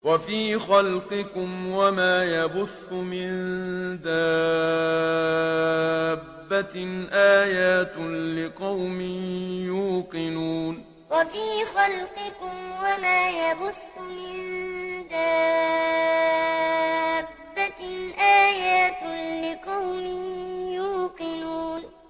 وَفِي خَلْقِكُمْ وَمَا يَبُثُّ مِن دَابَّةٍ آيَاتٌ لِّقَوْمٍ يُوقِنُونَ وَفِي خَلْقِكُمْ وَمَا يَبُثُّ مِن دَابَّةٍ آيَاتٌ لِّقَوْمٍ يُوقِنُونَ